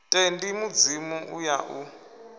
tendi mudzimu u ya u